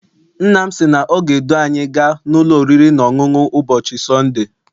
Nna m sị na ọ ga- edu anyị gaa n'ụlọ oriri na ọṅụṅụ ụbọchị Sọnde.